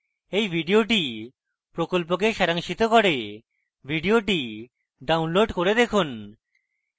এই video প্রকল্পকে সারাংশিত করে video download করে দেখুন